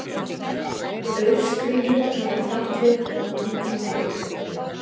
Aurskriður hafa fallið og manntjón orðið